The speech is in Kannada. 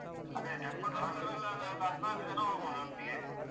ಅದೇ tempo traveller ಅಲ್ ಆದರೆ ಒಂದ್ ಹದ್ನಾಕ್ ಜನ ಹೋಗ್ಬೋದು ಒಟ್ಟಿಗೆ.